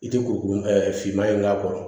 I tɛ kuru finma in k'a kɔrɔ